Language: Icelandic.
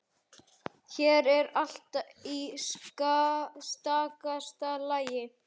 Hér er allt í stakasta lagi.